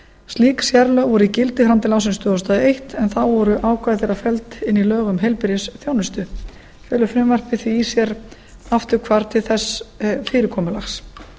slík sérlög voru í gildi fram til ársins tvö þúsund og eitt en þá voru ákvæði þeirra felld inn í lög um heilbrigðisþjónustu felur frumvarpið því í sér afturhvarf til þess fyrirkomulags